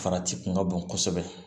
Farati kun ka bon kosɛbɛ